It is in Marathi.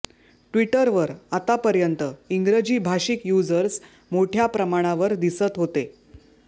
ट्विटरवर आतापर्यंत इंग्रजी भाषिक यूझर्स मोठ्या प्रमाणावर दिसत होते